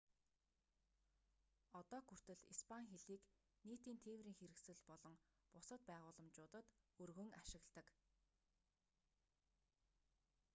одоог хүртэл испани хэлийг нийтийн тээврийн хэрэгсэл болон бусад байгууламжуудад өргөн ашигладаг